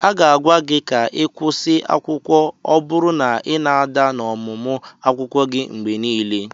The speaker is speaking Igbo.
A ga-agwa gị ka ị kwụsị akwụkwọ ọ bụrụ na ị na-ada n'ọmụmụ akwụkwọ gị mgbe niile.